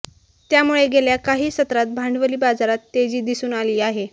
त्यामुळे गेल्या काही सत्रात भांडवली बाजारात तेजी दिसून आली आहे